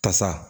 Kasa